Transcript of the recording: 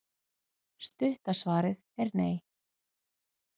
Stutta svarið er nei.